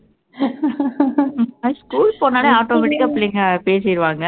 அது school போனாலே automatic ஆ பிள்ளைங்க பேசிடுவாங்க